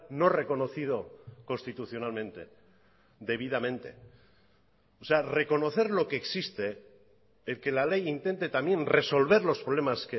no reconocido constitucionalmente debidamente o sea reconocer lo que existe el que la ley intente también resolver los problemas